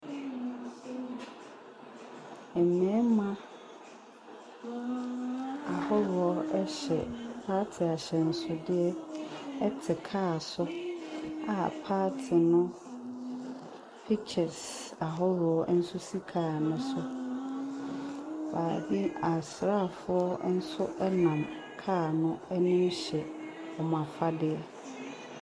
Mmarima ahodoɔ hyɛ party ahyɛnsodeɛ te car so a party no pictures ahodoɔ nso si car no so. Baabi, asraafoɔ nso nam car no anim hyɛ wɔn afadeɛ.